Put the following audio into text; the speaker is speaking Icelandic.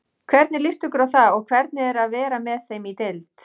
Hvernig líst ykkur á það og hvernig er að vera með þeim í deild?